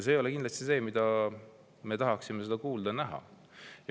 See ei ole kindlasti see, mida me tahaksime kuulda ja näha.